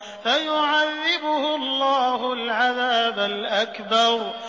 فَيُعَذِّبُهُ اللَّهُ الْعَذَابَ الْأَكْبَرَ